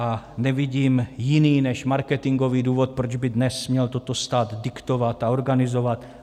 A nevidím jiný než marketingový důvod, proč by dnes měl toto stát diktovat a organizovat.